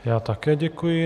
Já také děkuji.